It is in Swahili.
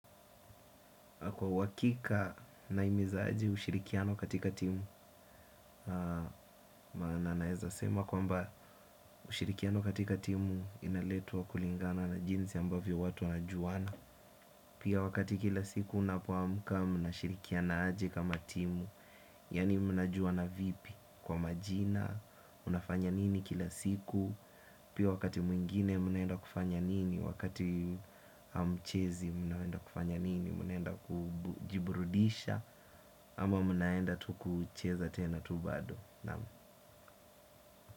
Kwa uhakika nahimiza aje ushirikiano katika timu naweza sema kwamba ushirikiano katika timu inaletwa kulingana na jinsi ambavyo watu wanajuana pia wakati kila siku unapoamka unashirikiana aje kama timu yaani mnajuana vipi kwa majina unafanya nini kila siku pia wakati mwingine mnaenda kufanya nini wakati hamchezi mnaenda kufanya nini mnaenda kujiburudisha ama mnaenda tu kucheza tena tu bado. Naam.